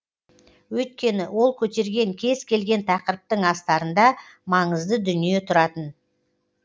өйткені ол көтерген кез келген тақырыптың астарында маңызды дүние тұратын